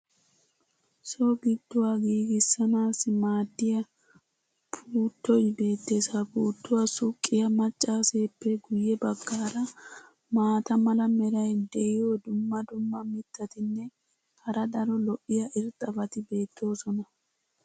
so giduwa giigissanaassi maadiya puuttoy beetees. ha puutuwa suqqiya macaaseeppe guye bagaara maata mala meray diyo dumma dumma mitatinne hara daro lo'iya irxxabati beetoosona.